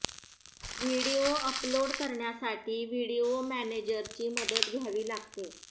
video upload करण्यासाठी video मॅनेजरची मदत घ्यावी लागते